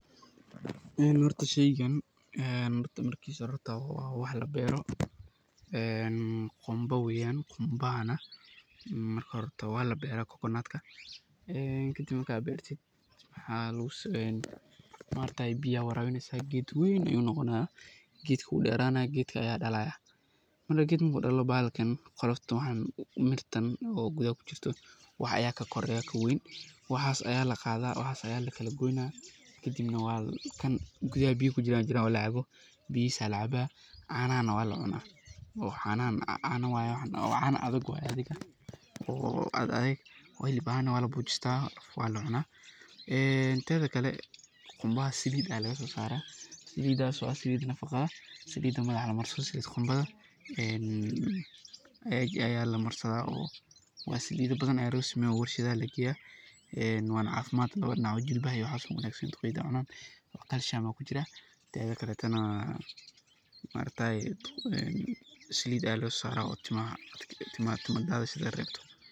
Ee horta sheygan ee horta marki shararta wax la bero qumba wayan, qumbahana marki horee hortaa waa labeeraa coconut ka, ee kadiib markaa beertiid ee geed weyn ayu noqonayaa, geedka wuu deranayaa, marka geedka marku dallo qoloftan mirtan o gudaha ku jirto wax aya ka koreyaa kaweyn, waxaas aya laqadhaa waxas aya lagoynaa kadiib kan gudaha biyaha ku dax jiran aya lacabaa, canahana waa la cunaa, cana wayee waxan, cana adhagg waye ayan isdihi karnaa o aad aadegg waa labujistaa o waa lacuna ayan ladihi karaa, ee tedha kalee qumbadas saliid aya laga so saraa, salidaas o nafaqaa ah, saliida madaxa la marsado saliid qumbadha, ee eeg aya lamarsadhaa, waa saliida badan aya lo sameyaa warshadaha aya lageyaa, ee wana cafimaad lawada Dinacba ee jilbaha ayey u wanagsantahay duqeyda aya isticmala, calcium aya kujiraa, tedha kalatana ma aragtayee saliid aad lo so sarayee tima dathis ka rebto.